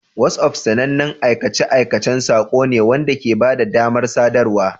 WhatsApp sanannen aikace-aikacen saƙo ne wanda ke ba da damar sadarwa.